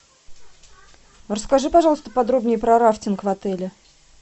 расскажи пожалуйста подробнее про рафтинг в отеле